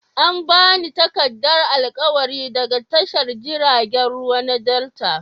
An ba ni takardar alƙawari daga tashar jiragen ruwa na delta.